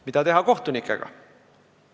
Mida teha kohtunikega?